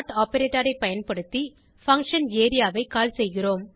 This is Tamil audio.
ஆப்பரேட்டர் ஐ பயன்படுத்தி பங்ஷன் ஏரியா ஐ கால் செய்கிறோம்